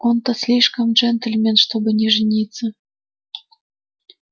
он-то слишком джентльмен чтобы не жениться